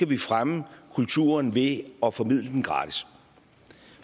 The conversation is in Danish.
vi fremme kulturen ved at formidle den gratis